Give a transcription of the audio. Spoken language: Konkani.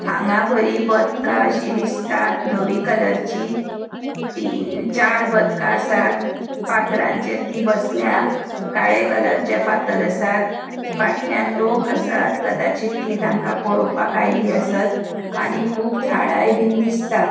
हांगा बरी बदका शी दिसतात धवी कलरची तीन चार बदका आसात फातरांचेर ती बसल्यात काळे कलरचे फातर आसात फाटल्यान लोक आसात कदाचित ती तांका पोळोवपाक आयली आसत आणि खूब झाडाय बिन दिसता.